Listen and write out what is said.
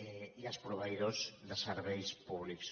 i els proveïdors de serveis públics